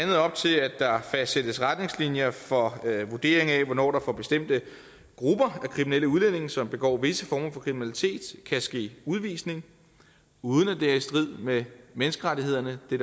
her fastsættes retningslinjer for vurdering af hvornår der for bestemte grupper af kriminelle udlændinge som begår visse former for kriminalitet kan ske udvisning uden at det er i strid med menneskerettighederne det